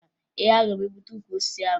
Ee, aga m egbutu ukwu osisi ahụ